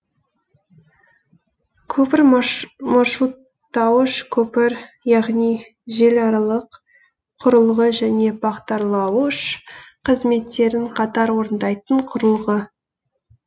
көпір маршруттауыш көпір яғни желіаралық құрылғы және бағдарлауыш қызметтерін қатар орындайтын құрылғы